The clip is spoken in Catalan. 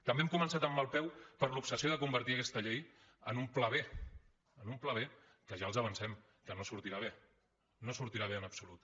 també hem començat amb mal peu per l’obsessió de convertir aquesta llei en un pla b en un pla b que ja els avancem que no sortirà bé no sortirà bé en absolut